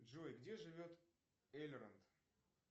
джой где живет эльронд